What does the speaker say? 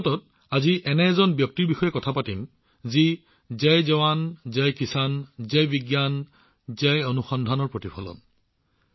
মন কী বাতত আজিৰ প্ৰসংগটো এনে এজন ব্যক্তিৰ বিষয়ে উল্লেখ কৰিবলৈ ওলাইছো এনে এটা সংগঠনৰ বিষয়ে কবলৈ ওলাইছো যি এই চাৰিওটা জয় জোৱান জয় কিষাণ জয় বিজ্ঞান আৰু জয় অনুসন্ধানৰ প্ৰতিফলন